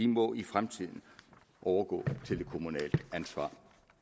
må i fremtiden overgå til det kommunale ansvar